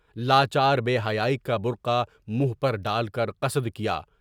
لاچار بے حیائی کا بورخا منہ پر ڈال کر قصد کیا۔